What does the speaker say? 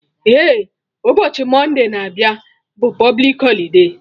Eh, ụbọchị Monday na abịa bụ publik holide